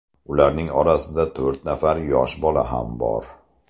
Ularning orasida to‘rt nafar yosh bola ham bor.